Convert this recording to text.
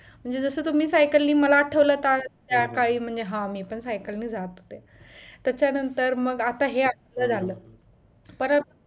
म्हणजे जस तुम्ही सायकलने मला आठवले काल हा मी पण सायकलने जात होते त्याचा नंतर मग आता हे अस झाल परत